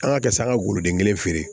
An ka kɛ san an ga goloden kelen feere